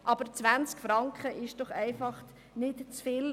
Aber 20 Franken, das ist doch nicht zu viel!